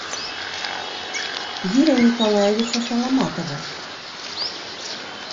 юрия николаевича саламатова